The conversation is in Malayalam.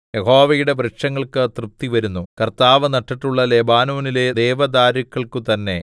യഹോവയുടെ വൃക്ഷങ്ങൾക്ക് തൃപ്തിവരുന്നു കർത്താവ് നട്ടിട്ടുള്ള ലെബാനോനിലെ ദേവദാരുക്കൾക്കു തന്നെ